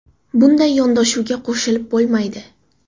Bunday yondashuvga qo‘shilib bo‘lmaydi.